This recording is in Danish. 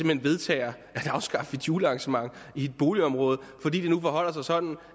hen vedtager at afskaffe et julearrangement i et boligområde fordi det nu forholder sig sådan